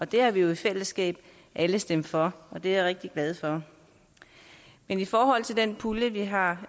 det har vi jo i fællesskab alle stemt for og det er jeg rigtig glad for men i forhold til den pulje vi har